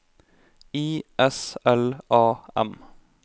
I S L A M